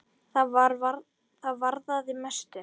Það varðaði mestu.